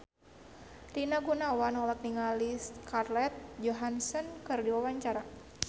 Rina Gunawan olohok ningali Scarlett Johansson keur diwawancara